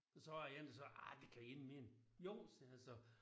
Så var en der sagde ah det kan I ikke mene. Jo sagde jeg så